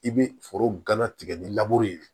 I bɛ foro gana tigɛ ni ye